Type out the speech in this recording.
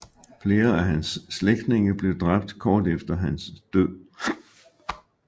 Flere af hans slægtninge blev dræbt kort efter hans død